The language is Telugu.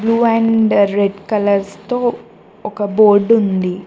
బ్లూ అండ్ రెడ్ కలర్స్ తో ఒక బోర్డ్ ఉంది.